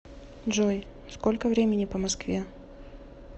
джой сколько времени по москве